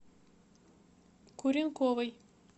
куренковой